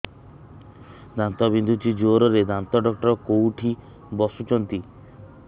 ଦାନ୍ତ ବିନ୍ଧୁଛି ଜୋରରେ ଦାନ୍ତ ଡକ୍ଟର କୋଉଠି ବସୁଛନ୍ତି